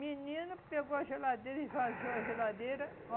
Menino pegou a geladeira, esvaziou a geladeira.